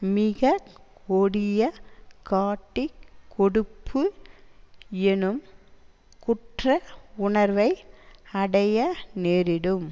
மிக கொடிய காட்டிக் கொடுப்பு எனும் குற்ற உணர்வை அடைய நேரிடும்